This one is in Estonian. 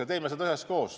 Ja me teeme seda üheskoos.